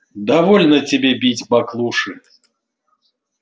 довольно тебе бить баклуши